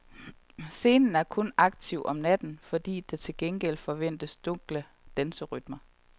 Scenen er kun aktiv om natten, hvor der til gengæld forventes dunkle danserytmer.